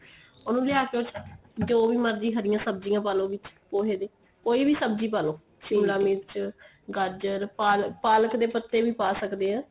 ਉਹਨੂੰ ਲਿਆ ਕੇ ਉਸ ਚ ਜੋ ਵੀ ਮਰਜੀ ਹਰੀਆਂ ਸਬਜੀਆਂ ਪਾਲੋ ਵਿੱਚ ਪੋਹੇ ਦੇ ਕੋਈ ਵੀ ਸਬਜੀ ਪਾ ਲੋ ਸ਼ਿਮਲਾ ਮਿਰਚ ਗਾਜਰ ਪਾਲਕ ਪਾਲਕ ਦੇ ਪਤੇ ਵੀ ਪਾ ਸਕਦੇ ਆ